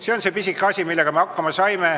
See on see pisike asi, millega me hakkama saime.